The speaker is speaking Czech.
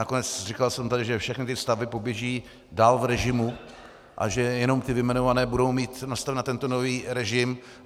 Nakonec říkal jsem tady, že všechny ty stavby poběží dál v režimu a že jenom ty vyjmenované budou mít nastaveny na tento nový režim.